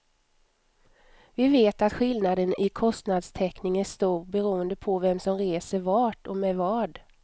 Vi vet att skillnaden i kostnadstäckning är stor beroende på vem som reser vart och med vad.